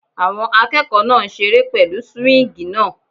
Àwọn akẹ́kọ̀ọ́ náà ń seré pẹ̀lú súwíngì náà